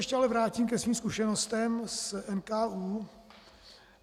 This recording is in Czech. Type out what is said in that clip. Ještě se vrátím ke svým zkušenostem z NKÚ.